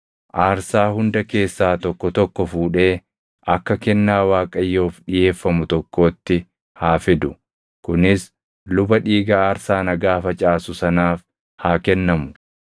Aarsaa hunda keessaa tokko tokko fuudhee akka kennaa Waaqayyoof dhiʼeeffamu tokkootti haa fidu; kunis luba dhiiga aarsaa nagaa facaasu sanaaf haa kennamu.